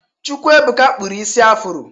Chukwuebụka kpụrụ isi ya afro.